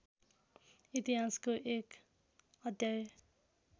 इतिहासको एक अध्याय